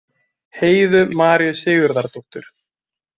Heiðu Maríu Sigurðardóttur